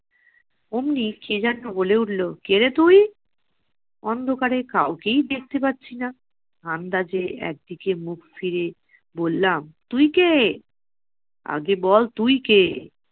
অমনি কে যেন বলে উঠলো, কে রে তুই? অন্ধকারে কাউকেই দেখতে পারছি না। আন্দাজে এক দিকে মুখ ফিরিয়ে বললাম তুই কে? আগে বল তুই কে?